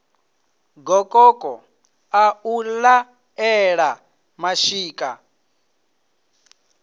gokoko ḽa u laṱela mashika